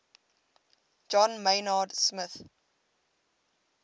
john maynard smith